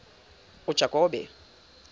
ujakobe